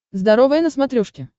здоровое на смотрешке